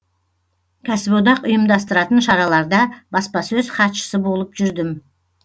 кәсіподақ ұйымдастыратын шараларда баспасөз хатшысы болып жүрдім